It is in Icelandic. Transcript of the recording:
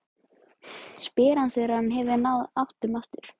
spyr hann þegar hann hefur náð áttum aftur.